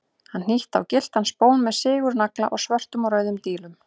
Hann hnýtti á gylltan spón með sigurnagla og svörtum og rauðum dílum.